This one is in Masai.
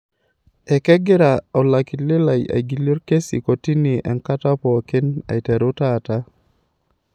Ekegira olakili lai aigilie olkesi kotini enkata pookin aiteru taata.